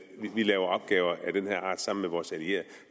vi laver opgaver af den her art sammen med vores allierede